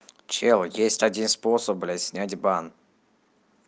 чел есть один способ блять снять бан